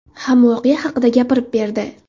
ham voqea haqida gapirib berdi.